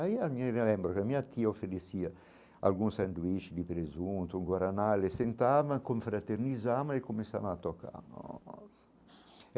Aí eu me lembro que a minha tia oferecia algum sanduíche de presunto, um guaraná, eles sentavam, confraternizava e começava a tocar nossa.